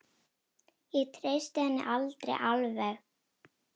Ég treysti henni aldrei alveg.